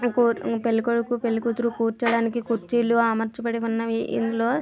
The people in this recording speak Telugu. పెళ్ళికొడుకు పెళ్ళికూతురు కూర్చోడానికి కుర్చీలు అమర్చబడి ఉన్నవి. ఇందులో --